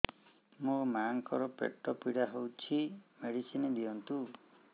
ମୋ ମାଆଙ୍କର ପେଟ ପୀଡା ହଉଛି ମେଡିସିନ ଦିଅନ୍ତୁ